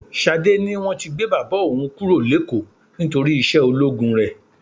Ṣadé ní wọ́n ti gbé bàbá òun kúrò l'ékòó nítorí iṣẹ́ ológun rẹ.